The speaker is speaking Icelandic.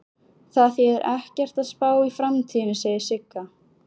Það þýðir ekkert að spá í framtíðina, segir Sigga.